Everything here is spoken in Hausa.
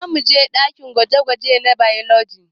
Zamuje ɗakin gwaje-gwaje na bailoji